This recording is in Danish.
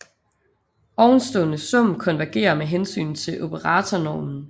Ovenstående sum konvergerer med hensyn til operatornormen